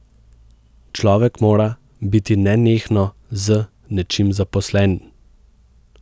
Človek mora biti nenehno z nečim zaposlen.